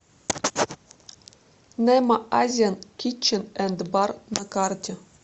немо азиан китчен энд бар на карте